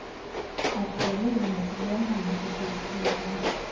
akhwele nesilwanyana eteksini